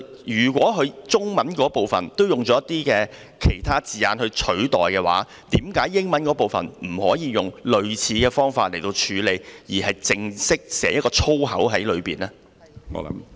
如果中文部分使用一些其他字眼代替，為何英文部分不可以用類似方法處理，而是寫上一個正式的粗口呢？